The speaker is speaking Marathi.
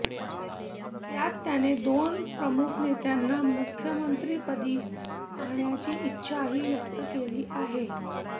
त्यात त्याने दोन प्रमुख नेत्यांना मुख्यमंत्रिपदी पाहण्याची इच्छाही व्यक्त केली आहे